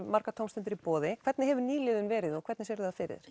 margar tómstundir í boði hvernig hefur nýliðun verið og hvernig sérðu það fyrir